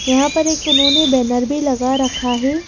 यहाँ पर एक उन्होंने बैनर भी लगा रखा है।